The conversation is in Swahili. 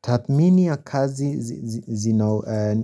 Tathmini ya kazi